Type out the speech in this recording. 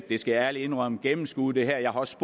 det skal jeg ærligt indrømme gennemskuet det her jeg har også